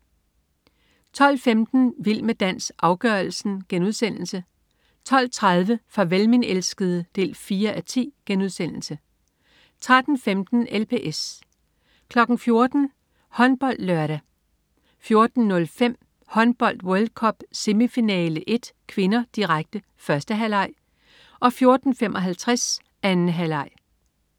12.15 Vild med dans, afgørelsen* 12.30 Farvel min elskede 4:10* 13.15 LPS 14.00 HåndboldLørdag 14.05 Håndbold: World Cup. Semifinale 1 (k), direkte. 1. halvleg 14.55 Håndbold: World Cup. Semifinale 1 (k), direkte. 2. halvleg